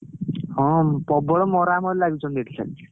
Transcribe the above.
ହଁ ପ୍ରବଳ ମରାମରି ଲାଗୁଛନ୍ତି ଏଠି ଖାଲି।